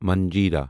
منجرا